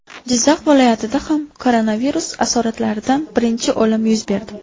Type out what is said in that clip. Jizzax viloyatida ham koronavirus asoratlaridan birinchi o‘lim yuz berdi .